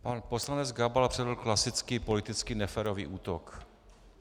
Pan poslanec Gabal předvedl klasický politický neférový útok.